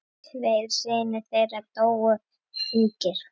Tveir synir þeirra dóu ungir.